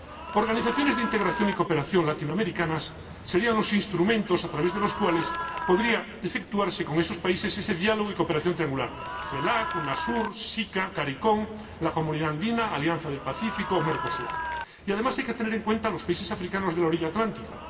Las organizaciones de integración y cooperación latinoamericanas serían los instrumentos a través de los cuales podría efectuarse con esos países ese diálogo y cooperación triangulares CELAC, Unasur, SICA, Caricom, la Comunidad Andina, la Alianza del Pacífico y Mercosur. Además, hay que tener en cuenta a los países africanos de la orilla atlántica